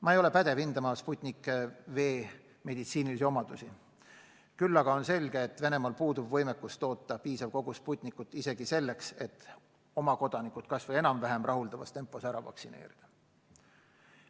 Ma ei ole pädev hindama Sputnik V meditsiinilisi omadusi, küll aga on selge, et Venemaal puudub võimekus toota piisav kogus Sputnikut isegi selleks, et oma kodanikud kas või enam-vähem rahuldavas tempos ära vaktsineerida.